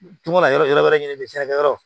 Tun bɔra yɔrɔ wɛrɛ ɲini jiɲɛna yɔrɔ